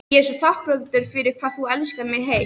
Ég er svo þakklát fyrir hvað þú elskar mig heitt.